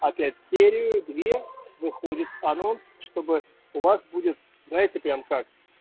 опять серию две выходит анонс чтобы у вас будет знаете прям как